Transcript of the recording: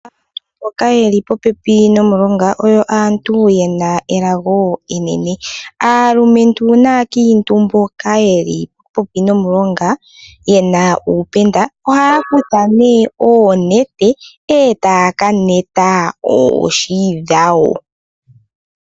Aantu mboka yeli popepi nomulonga oyo aantu yena elago enene. Aalumentu naakiintu mboka yeli popepi nomulonga ohaya kutha oonete etaya kaneta oohi dhawo.